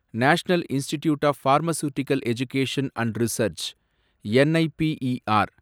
national institute of pharmaceutical education and research, NIPER